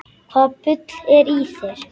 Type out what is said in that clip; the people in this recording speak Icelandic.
Hvaða bull er í þér?